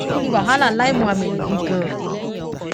kín ní wàhálà láì muhammed yìí ganan